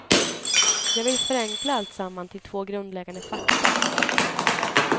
Jag vill förenkla alltsamman till två grundläggande fakta.